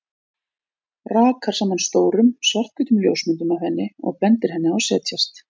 Rakar saman stórum, svarthvítum ljósmyndum af henni og bendir henni á að setjast.